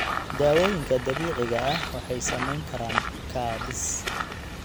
Daawooyinka dabiiciga ah waxay samayn karaan kaabis.